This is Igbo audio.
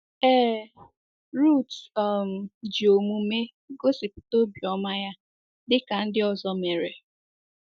Ee, Ruth um ji omume gosipụta obiọma ya, dị ka ndị ọzọ mere.